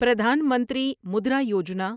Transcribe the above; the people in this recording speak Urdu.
پردھان منتری مدرا یوجنا